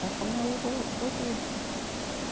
Para comer ovo cozido.